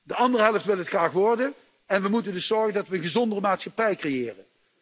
De andere helft wil het graag worden, en we moeten dus zorgen dat we een gezondere maatschappij creëren.